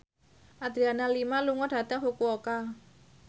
Adriana Lima lunga dhateng Fukuoka